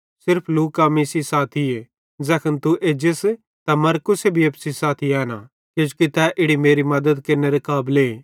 सिर्फ लूका मीं सेइं साथीए ज़ैखन तू एजस त मरकुसे भी एप्पू सेइं साथी एना किजोकि तै इड़ी मेरे मद्दत केरनेरे काबले